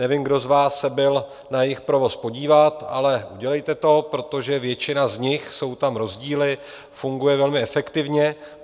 Nevím, kdo z vás se byl na jejich provoz podívat, ale udělejte to, protože většina z nich - jsou tam rozdíly - funguje velmi efektivně.